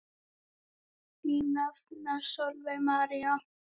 Þín nafna Sólveig María.